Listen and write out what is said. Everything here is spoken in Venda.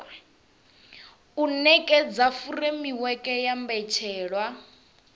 u nekedza furemiweke ya mbetshelwa